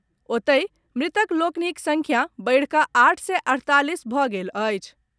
ओतहि, मृतक लोकनिक संख्या बढ़िकऽ आठ सय अड़तालीस भऽ गेल अछि।